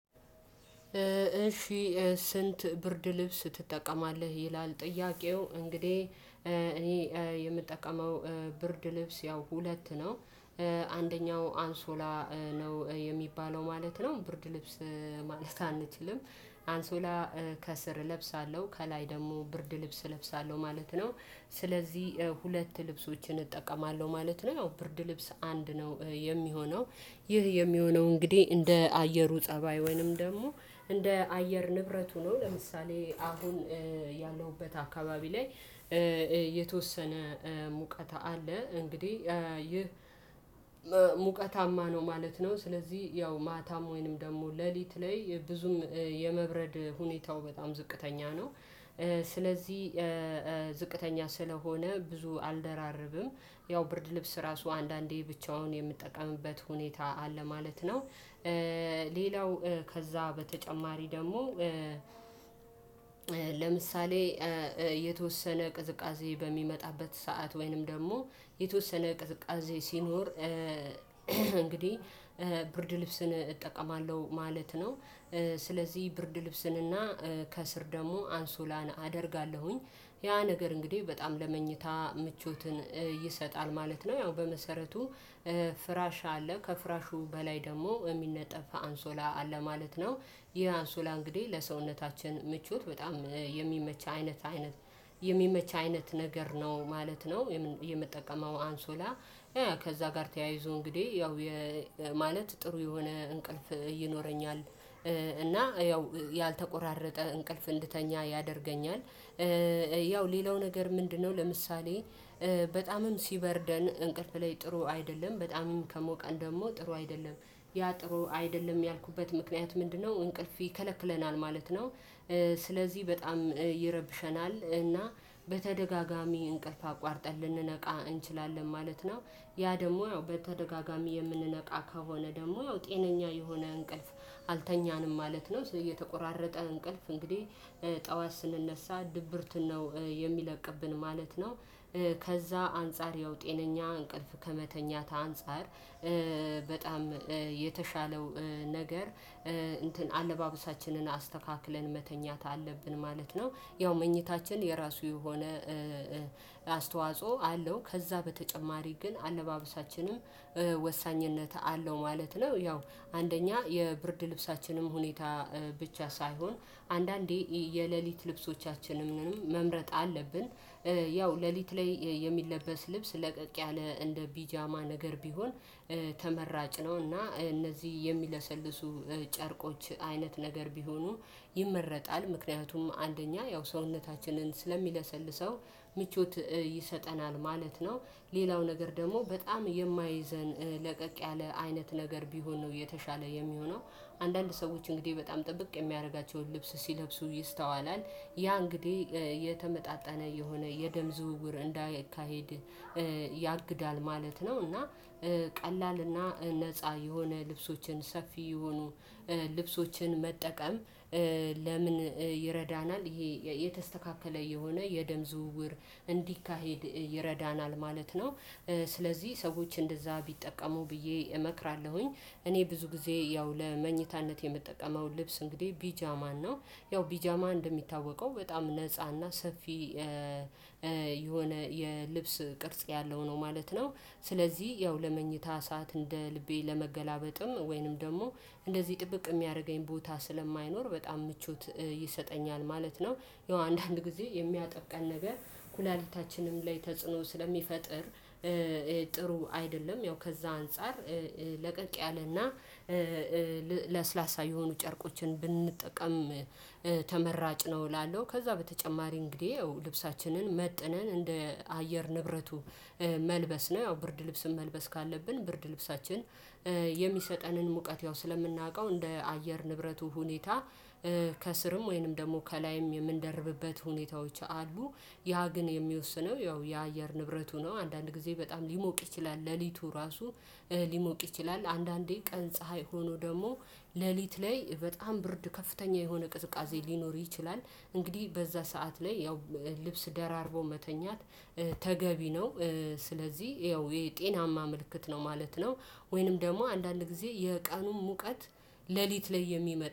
እሺ ስንት ብርድ ልብስ ትጠቀማለህ ይላል ጥያቄው እንግዲህ እኔ የምጠቀመው ብርድ ልብስ ያው ሁለት ነው። አንደኛው አንሶላ ነው የሚባለው ማለት ነው። ብርድ ልብስ ማለት አንችልም። አንሶላ ከስር እለብሳለሁ ከላይ ደግሞ ብርድ ልብስ እለብሳለሁ ማለት ነው። ስለዚህ ሁለት ልብሶችን እጠቀማለሁ ማለት ነው። ያው ብርድ ልብስ አንድ ነው የሚሆነው ይህ የሚሆነው እንግዲህ እንደ አየሩ ፀባይ ወይንም ደግሞ እንደ አየር ንብረቱ ነው። ለምሳሌ አሁን ያለውበት አካባቢ ላይ የተወሰነ ሙቀት አለ እንግዲህ። ይህ ሙቀታማ ነው ማለት ነው። ስለዚህ ያው ማታም ወይንም ደግሞ ሌሊት ላይ ብዙም የመብረድ ሁኔታው በጣም ዝቅተኛ ነው። ስለዚህ ዝቅተኛ ስለሆነ ብዙ አልደራረብም። ያው ብርድ ልብስ ራሱ አንዳንዴ ብቻውን የምትጠቀምበት ሁኔታ አለ ማለት ነው። ሌላው ከዛ በተጨማሪ ደግሞ ለምሳሌ የተወሰነ ቅዝቃዜ በሚመጣበት ሰዓት ወይንም ደግሞ የተወሰነ ቅዝቃዜ ሲኖር። እንግዲህ ብርድ ልብስን እጠቀማለሁ ማለት ነው። ስለዚህ ብርድ ልብስን እና ከስር ደግሞ አንሱላን አደርጋለሁኝ ያ ነገር እንግዲህ በጣም ለመኝታ ምቾትን ይሰጣል ማለት ነው። ያው በመሰረቱ ፍራሽ አለ ከፍራሹ በላይ ደግሞ የሚነጠፍ አንሶላ አለ ማለት ነው። ይህ አንሶላ እንግዲህ ለሰውነታችን ምቾት በጣም የሚመች አይነት አይነት የሚመች አይነት ነገር ነው ማለት ነው። የምጠቀመው አንሶላ ከዛ ጋር ተያይዞ እንግዲህ ያው ማለት ጥሩ የሆነ እንቅልፍ ይኖረኛል። እና ያው ያልተቆራረጠ እንቅልፍ እንድተኛ ያደርገኛል። ያው ሌላው ነገር ምንድነው? ለምሳሌ በጣምም ሲበርደን እንቅልፍ ላይ ጥሩ አይደለም በጣም ከሞቀን ደግሞ ጥሩ አይደለም። ያ ጥሩ አይደለም ያልኩበት ምክንያት ምንድነው? እንቅልፍ ይከለክለናል ማለት ነው። ስለዚህ በጣም ይረብሸናል እና በተደጋጋሚ እንቅልፍ አቋርጠን ልንነቃ እንችላለን ማለት ነው። ያ ደግሞ ያው በተደጋጋሚ የምንነቃ ከሆነ ደግሞ ያው ጤነኛ የሆነ እንቅልፍ አልተኛንም ማለት ነው። እየተቆራረጠ እንቅልፍ እንግዲህ ጠዋት ስንነሳ ድብርት ነው የሚለቅብን ማለት ነው። ከዛ አንፃር ያው ጤነኛ እንቅልፍ ከመተኛት አንፃር። በጣም የተሻለው ነገር እንትን አለባበሳችንን አስተካክለን መተኛት አለብን ማለት ነው። ያው መኝታችን የራሱ የሆነ አስተዋጽኦ አለው። ከዛ በተጨማሪ ግን አለባበሳችንም ወሳኝነት አለው ማለት ነው። ያው አንደኛ የብርድ ልብሳችንም ሁኔታ ብቻ ሳይሆን አንዳንዴ የሌሊት ልብሶቻችንም መምረጥ አለብን። ያው ሌሊት ላይ የሚለበስ ልብስ ለቀቅ ያለ እንደ ቢጃማ ነገር ቢሆን ተመራጭ ነው። እና እነዚህ የሚለሰልሱ ጨርቆች አይነት ነገር ቢሆኑ ይመረጣል። ምክንያቱም አንደኛ ያው ሰውነታችንን ስለሚለሰልሰው ምቾት ይሰጠናል ማለት ነው። ሌላው ነገር ደግሞ በጣም የማይዘን ለቀቅ ያለ አይነት ነገር ቢሆን ነው የተሻለ የሚሆነው። አንዳንድ ሰዎች እንግዲህ በጣም ጥብቅ የሚያደርጋቸውን ልብስ ሲለብሱ ይስተዋላል። ያ የተመጣጠነ የሆነ የደም ዝውውር እንዳይካሄድ ያግዳል ማለት ነው። እና ቀላል እና ነፃ የሆነ ልብሶችን ሰፊ የሆኑ ልብሶችን መጠቀም? ለምን ይረዳናል ይሄ የተስተካከለ የሆነ የደም ዝውውር እንዲካሄድ ይረዳናል ማለት ነው። ስለዚህ ሰዎች እንደዛ ቢጠቀሙ ብዬ እመክራለሁኝ። እኔ ብዙ ጊዜ ያው ለመኝታነት የምጠቀመው ልብስ እንግዲህ ቢጃማ ነው። ያው ቢጃማ እንደሚታወቀው በጣም ነፃ ነፃና ሰፊ የሆነ የልብስ ቅርጽ ያለው ነው ማለት ነው። ስለዚህ ያው ለመኝታ እሳት እንደ ልቤ ለመገላበጥም ወይንም ደግሞ እንደዚህ ጥብቅ የሚያደርገኝ ቦታ ስለማይኖር በጣም ምቾት ይሰጠኛል ማለት ነው። ያው አንዳንድ ጊዜ የሚያጠቀን ነገር ኩላሊታችንም ላይ ተጽዕኖ ስለሚፈጥር ጥሩ አይደለም። ያው ከዛ አንፃር። ለቀቅ ያለና ለስላሳ የሆኑ ጨርቆችን ብንጠቀም ተመራጭ ነው እላለሁ። ከዛ በተጨማሪ እንግዲህ ያው ልብሳችንን መጥነን እንደ አየር ንብረቱ መልበስ ነው። ያው ብርድ ልብስም መልበስ ካለብን ብርድ ልብሳችን የሚሰጠንን ሙቀት ያው ስለምናውቀው እንደ አየር ንብረቱ ሁኔታ ከስርም ወይንም ደግሞ ከላይም የምንደርብበት ሁኔታዎች አሉ። ያ ግን የሚወስነው ያው የአየር ንብረቱ ነው። አንዳንድ ጊዜ በጣም ሊሞቅ ይችላል። ሌሊቱ ራሱ ሊሞቅ ይችላል። አንዳንዴ ቀን ፀሀይ ሆኖ ደግሞ ሌሊት ላይ በጣም ብርድ ከፍተኛ የሆነ ቅዝቃዜ ሊኖር ይችላል። እንግዲህ በዛ ሰዓት ላይ ያው ልብስ ደራርቦ መተኛት ተገቢ ነው። ስለዚህ ያው የጤናማ ምልክት ነው ማለት ነው። ወይንም ደግሞ አንዳንድ ጊዜ የቃኑን ሙቀት ሌሊት ላይ የሚመጣ